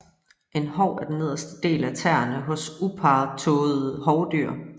En hov er den nederste del af tæerne hos Uparrettåede hovdyr